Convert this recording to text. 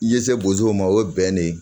I ye se bozo ma o ye bɛn de ye